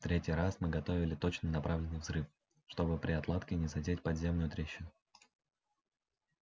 в третий раз мы готовили точно направленный взрыв чтобы при отладке не задеть подземную трещину